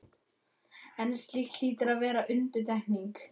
en slíkt hlýtur að vera undantekning.